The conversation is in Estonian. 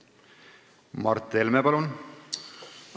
Mart Helme, palun!